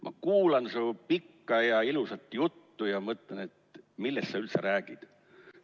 Ma kuulan su pikka ja ilusat juttu ja mõtlen, et millest sa üldse räägid.